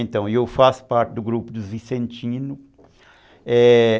Então, eu faço parte do grupo dos vicentinos. É...